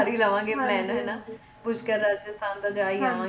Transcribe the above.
ਕਰ ਹੀ ਲਵਾਂਗੇ plan ਹੈ ਨਾ ਪੁਸ਼ਕਰ ਰਾਜਸਥਾਨ ਜਾ ਹੀ ਆਵਾਂਗੇ